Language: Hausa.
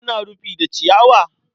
Ana rufi da ciyawa?